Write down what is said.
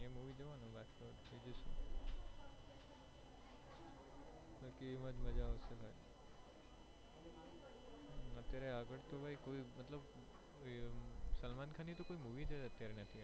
અત્યારે આગળ મતલબ સલમાન ખાન ની કોઈ movie અત્યારે નથી આવી